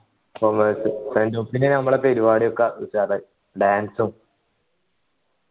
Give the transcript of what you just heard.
commerce നമ്മളെ പരിപാടിയൊക്കെ ഉഷാറായി dance ഉം